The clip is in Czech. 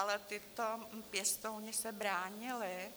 Ale tito pěstouni se bránili,